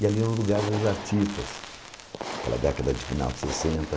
E ali era o lugar dos artistas, naquela década de final de sessenta